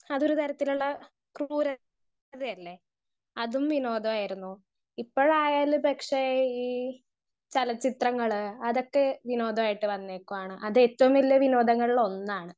Speaker 1 അതൊരു തരത്തിലുള്ള ക്രൂര തല്ലേ അതും വിനോദായിരുന്നു ഇപ്പൊഴാലു പക്ഷെ ഈ ചലച്ചിത്രങ്ങൾ അതൊക്കെ വിനോദായിട്ട് വന്നേക്കുവാണ് അത് ഏറ്റവും വലിയ വിനോദങ്ങളൊന്നാണ്.